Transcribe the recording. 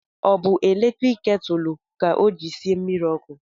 Ọ bụ eletrik ketulu ka o jiri sie mmiri ọkụ?